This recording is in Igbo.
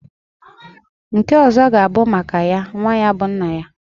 Nke ọzọ g'a bụ maka ya nwa bụ nna ya.